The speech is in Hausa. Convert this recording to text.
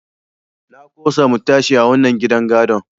Na ƙosa mu tashi a wannan gidan gadon.